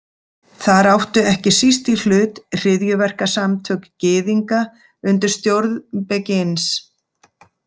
Þar áttu ekki síst í hlut hryðjuverkasamtök Gyðinga undir stjórn Begins.